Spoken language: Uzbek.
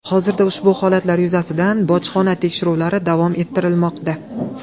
Hozirda ushbu holatlar yuzasidan bojxona tekshiruvlari davom ettirilmoqda.